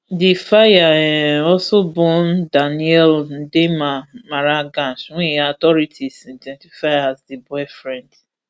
di fire um also burn daniel ndiema marangach wey authorities identify as di boyfriend